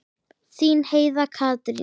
Þín Heiða Katrín.